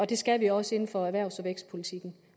det skal vi også inden for erhvervs og vækstpolitikken